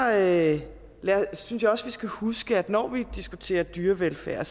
jeg også vi skal huske at når vi diskuterer dyrevelfærd